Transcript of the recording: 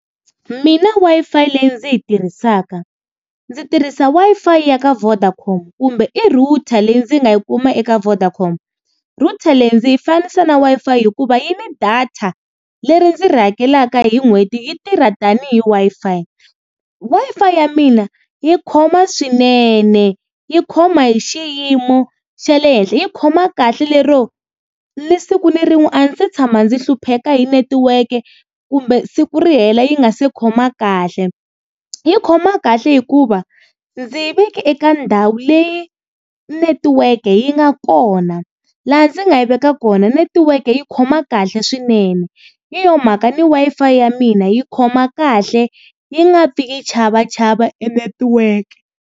Mina Wi-Fi leyi ndzi yi tirhisaka, ndzi tirhisa Wi-Fi ya ka Vodacom kumbe i router leyi ndzi nga yi kuma eka Vodacom. Router leyi ndzi yi fanisa na Wi-Fi hikuva yi ni data leri ndzi ri hakelaka hi n'hweti, yi tirha tanihi Wi-Fi. Wi-Fi ya mina yi khoma swinene yi khoma hi xiyimo xa le henhla, yi khoma kahle lero ni siku ni rin'we a ndzi se tshama ndzi hlupheka hi netiweke kumbe siku ri hela yi nga se khoma kahle. Yi khoma kahle hikuva ndzi yi veke eka ndhawu leyi netiweke yi nga kona, laha ndzi nga yi veka kona netiweke yi khoma kahle swinene. Hi yo mhaka ni Wi-Fi ya mina yi khoma kahle yi nga pfi yi chavachava e netiweke.